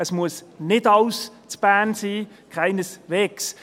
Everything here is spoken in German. Es muss nicht alles in Bern sein, keineswegs.